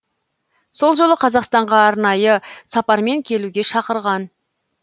сол жолы қазақстанға арнайы сапармен келуге шақырған